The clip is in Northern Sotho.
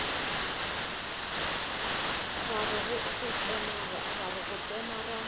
ra re go tsena ra